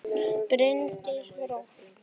Bryndís Rós.